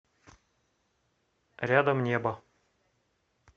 рядом небо